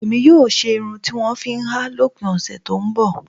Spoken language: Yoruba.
Èmi yóò máa ṣe irun tí wọ́n ń fi háà lópin ọ̀sẹ̀ tó ń bọ̀